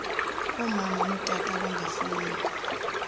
omama notata abangafumani